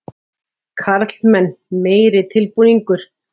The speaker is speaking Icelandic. Karlmenn meiri tilbúningur.